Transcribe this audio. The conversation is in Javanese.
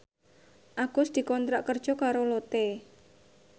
Agus dikontrak kerja karo Lotte